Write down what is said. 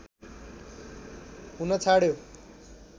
हुन छाड्यो